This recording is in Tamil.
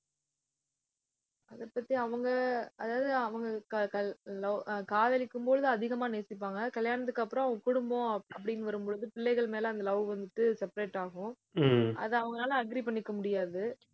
அதைப் பத்தி அவங்க அதாவது அவங்க கா~ கா~ love அஹ் காதலிக்கும் பொழுது அதிகமா நேசிப்பாங்க. கல்யாணத்துக்கு அப்புறம் அவங்க குடும்பம் அப்படின்னு வரும் பொழுது பிள்ளைகள் மேலே அந்த love வந்துட்டு, separate ஆகும் அதை அவங்களால agree பண்ணிக்க முடியாது